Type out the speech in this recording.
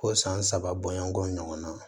Ko san saba bɔɲɔgɔnko ɲɔgɔn na